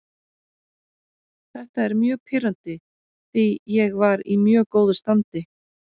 Þetta er mjög pirrandi því ég var í mjög góðu standi.